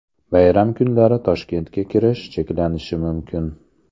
Bayram kunlari Toshkentga kirish cheklanishi mumkin.